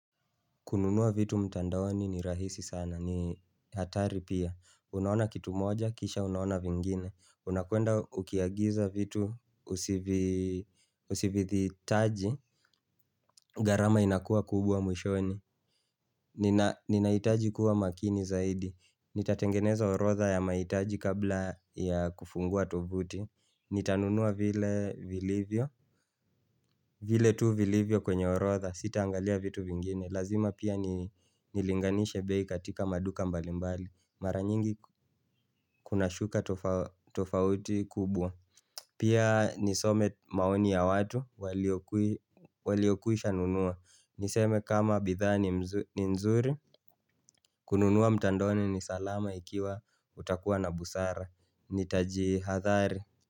Kununua vitu mtandaoni ni rahisi sana, ni hatari pia. Unaona kitu moja, kisha unaona vingine. Unakwenda ukiagiza vitu usividhihitaji, gharama inakua kubwa mwishoni. Ninahitaji kuwa makini zaidi. Nitatengeneza orodha ya mahitaji kabla ya kufungua tovuti. Nitanunua vile vilivyo, vile tu vilivyo kwenye orodha, sitaangalia vitu vingine. Lazima pia nilinganishe bei katika maduka mbalimbali mara nyingi kuna shuka tofauti kubwa Pia nisome maoni ya watu Waliokwisha nunua niseme kama bidhaa ni nzuri kununua mtandaoni ni salama ikiwa utakuwa na busara nitajihadhari.